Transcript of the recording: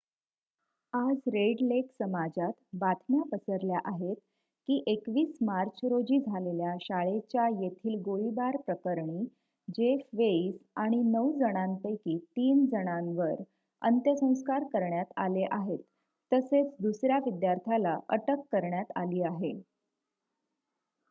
आज Red Lake समाजात बातम्या पसरल्या आहेत की 21 मार्च रोजी झालेल्या शाळेच्या येथील गोळीबार प्रकरणी जेफ वेइस आणि नऊ जणांपैकी तीन जणांवर अंत्यसंस्कार करण्यात आले आहेत तसेच दुसर्‍या विद्यार्थ्याला अटक करण्यात आली आहे